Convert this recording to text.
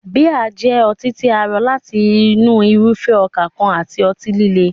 Bíà jẹ́ ọtí tí a rọ láti inú irúfẹ́ ọkà kan àti ọtí líle.